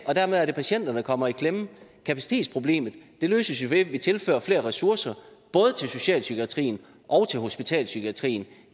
og dermed er det patienterne der kommer i klemme kapacitetsproblemet løses jo ved at vi tilfører flere ressourcer både til socialpsykiatrien og til hospitalspsykiatrien